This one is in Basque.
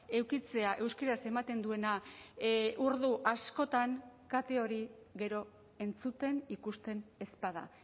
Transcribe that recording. edukitzea euskaraz ematen duena ordu askotan kate hori gero entzuten ikusten ez bada